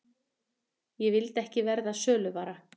Ég vildi ekki verða söluvara.